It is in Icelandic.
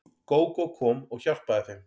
Gógó kom og hjálpaði þeim.